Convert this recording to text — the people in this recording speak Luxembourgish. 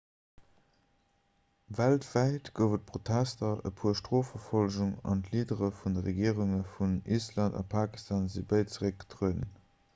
weltwäit gouf et protester e puer strofverfollegungen an d'leadere vun de regierunge vun island a pakistan si béid zeréckgetrueden